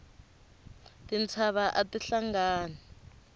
tintshava ati hlangani